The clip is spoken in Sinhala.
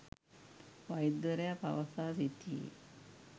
වෛද්‍යවරයා පවසා සිටියේ